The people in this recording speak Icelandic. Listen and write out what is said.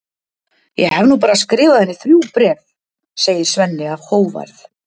Ég hef nú bara skrifað henni þrjú bréf, segir Svenni af hógværð.